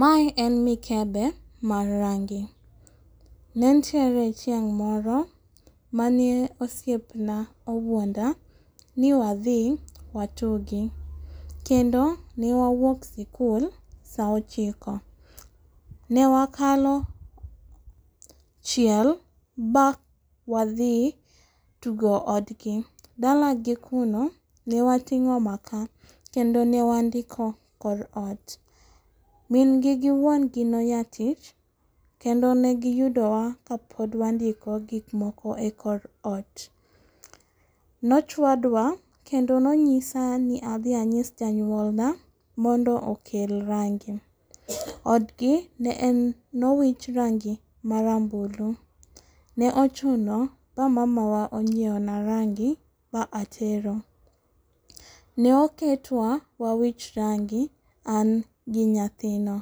Mae en mikebe mar rangi. Nentiere chieng' moro mane osiepna owuonda ni wadhi watugi. Kendo ne wawuok sikul saa ochiko ne wakalo chiel mawadhi tugo odgi. Dalagi kuno ne wating'o maka kendo ne wandiko kor oot. Min gi giwuongi noya tich kendo negi yudowa kapod wandiko gik moko ekor oot. Nochwadwa kendo nonyisani ni adhi anyis janyuolna mondo okel rangi. Odgi ne en nowich rangi mara mbulu ne ochuno ma mamawa onyiewona rangi ma atero. Noketwa wawich rangi an gi nyathino.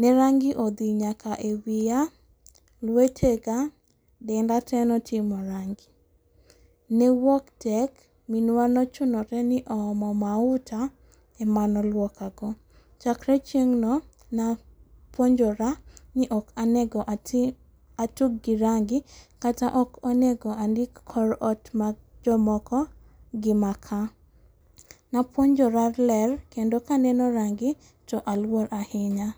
Ne rangi odhi nyaka ewiya lwetega denda te notimo rangi. Newuok tek minwa nochunore ni oomo mauta emane oluokago. Chakre chieng'no napuonjora ni ok onego ati atug gi rangi kata ok onego andik kor oot mag jomoko gi maka. Napuonjora ler kendo kaneno rangi to aluor ahinya